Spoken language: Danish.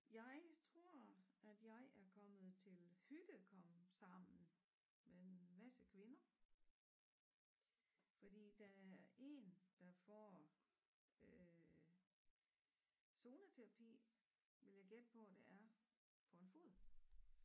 Jeg tror at jeg er kommet til hygge komsammen med en masse kvinder fordi der er 1 der får øh zoneterapi vil jeg gætte på det er på en fod